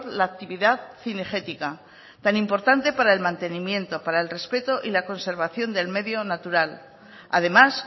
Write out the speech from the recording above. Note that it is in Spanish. la actividad cinegética tan importante para el mantenimiento para el respeto y la conservación del medio natural además